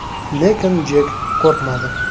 Lekin Jek qo‘rqmadi.